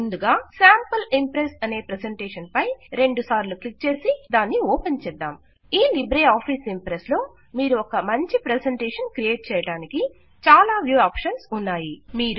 ముందుగా sample Impress అనే presentation పై రెండు మార్లు క్లిక్ చేసి దాన్ని ఓపెన్ చేద్దాం మీరు ఒక మంచి ప్రెజెంటేషన్ క్రియేట్ చేయడానికి చాలా వ్యూ ఆప్షన్స్ ఈ లిబ్రే ఆఫీస్ ఇంప్రెస్ లో ఉన్నాయి